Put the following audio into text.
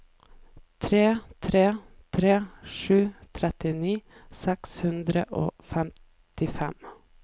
tre tre tre sju trettini seks hundre og femtifem